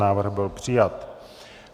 Návrh byl přijat.